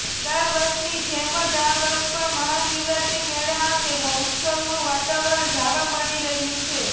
દરવર્ષની જેમ જ આ વર્ષે પણ મહાશિવરાત્રી મેળા અંગે ઉત્સાહનું વાતાવરણ જાવા મળી રહ્યું છે